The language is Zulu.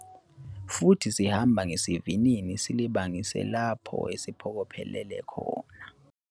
Futhi sihamba ngesivinini silibangise lapho siphokophelele khona.